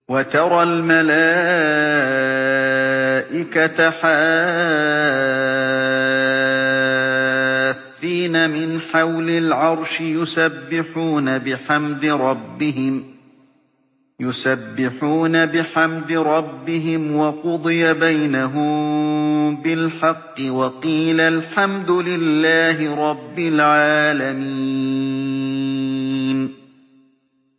وَتَرَى الْمَلَائِكَةَ حَافِّينَ مِنْ حَوْلِ الْعَرْشِ يُسَبِّحُونَ بِحَمْدِ رَبِّهِمْ ۖ وَقُضِيَ بَيْنَهُم بِالْحَقِّ وَقِيلَ الْحَمْدُ لِلَّهِ رَبِّ الْعَالَمِينَ